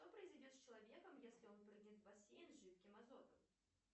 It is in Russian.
что произойдет с человеком если он прыгнет в бассейн с жидким азотом